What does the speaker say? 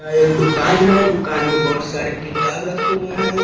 यह एक दुकान है दुकान में बहुत सारे किताब रखे हुए हैं।